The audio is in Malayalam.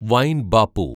വൈൻ ബാപ്പു